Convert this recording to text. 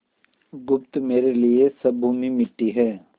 बुधगुप्त मेरे लिए सब भूमि मिट्टी है